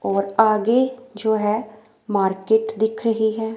और आगे जो है मार्केट दिख रही है।